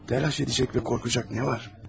Telaş edəcək və qorxacaq nə var?